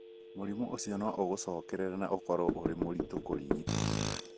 Mũrimũ ũcio no ũcokerereke na ũkorũo ũrĩ mũritũ kũrigita.